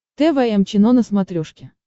тэ вэ эм чено на смотрешке